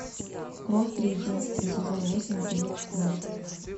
кровь триединства сезон восемь эпизод пятнадцать